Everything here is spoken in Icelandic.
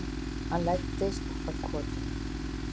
Hann læddist að kortinu.